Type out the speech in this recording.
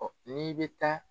ni i bɛ taa